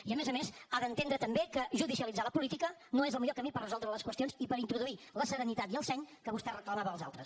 i a més a més ha d’entendre també que judicialitzar la política no és el millor camí per resoldre les qüestions i per introduir la serenitat i el seny que vostè reclamava als altres